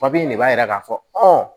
de b'a yira k'a fɔ